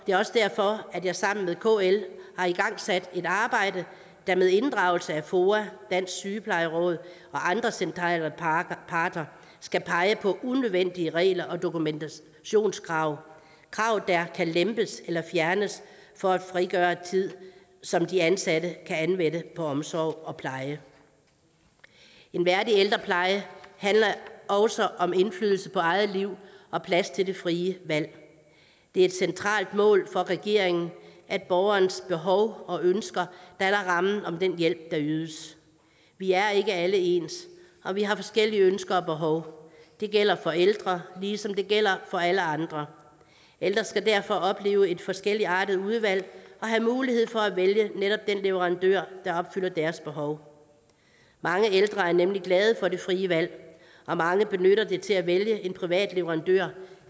er også derfor at jeg sammen med kl har igangsat et arbejde der med inddragelse af foa dansk sygeplejeråd og andre centrale parter parter skal pege på unødvendige regler og dokumentationskrav krav der kan lempes eller fjernes for at frigøre tid som de ansatte kan anvende på omsorg og pleje en værdig ældrepleje handler også om indflydelse på eget liv og plads til det frie valg det er et centralt mål for regeringen at borgerens behov og ønsker danner rammen om den hjælp der ydes vi er ikke alle ens og vi har forskellige ønsker og behov det gælder for ældre ligesom det gælder for alle andre ældre skal derfor opleve et forskelligartet udvalg og have mulighed for at vælge netop den leverandør der opfylder deres behov mange ældre er nemlig glade for det frie valg og mange benytter det til at vælge en privat leverandør